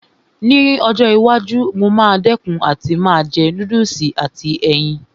Ní ọjọ́ iwájú, mo máa dẹ̀kun àti máa jẹ núdùsì àti ẹyin